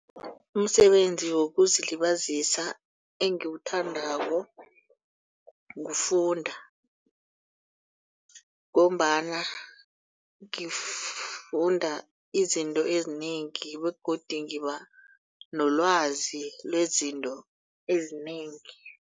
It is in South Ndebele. Umsebenzi wokuzilibazisa engiwuthandako kufunda. Ngombana ngifunda izinto ezinengi begodu ngiba nelwazi lezinto ezinengi.